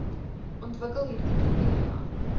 ontwikkel hieride kriteria